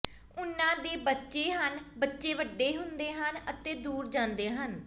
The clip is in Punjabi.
ਉਨ੍ਹਾਂ ਦੇ ਬੱਚੇ ਹਨ ਬੱਚੇ ਵੱਡੇ ਹੁੰਦੇ ਹਨ ਅਤੇ ਦੂਰ ਜਾਂਦੇ ਹਨ